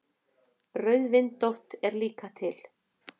Rauðvindótt er líka til.